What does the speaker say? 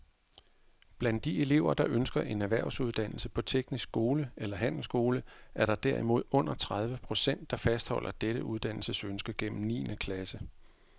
Blandt de elever, der ønsker en erhvervsuddannelse på teknisk skole eller handelsskole, er der derimod under tredive procent, der fastholder dette uddannelsesønske gennem niende klasse.